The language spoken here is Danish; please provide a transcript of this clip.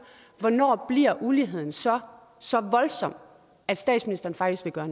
hvornår bliver uligheden så så voldsom at statsministeren faktisk vil gøre